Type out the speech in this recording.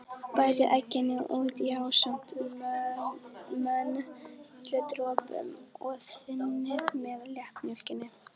Bætið egginu út í ásamt möndludropunum og þynnið með léttmjólkinni.